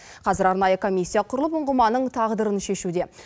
қазір арнайы комиссия құрылып ұңғыманың тағдырын шешуде